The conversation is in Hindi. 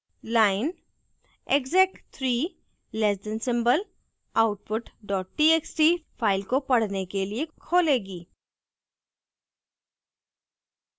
line exec 3 less than symbol output dot txt file को पढ़ने के लिए खोलेगी